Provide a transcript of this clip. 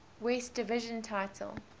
west division title